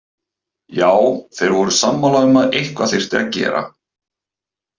Já, þeir voru sammála um að eitthvað þyrfti að gera.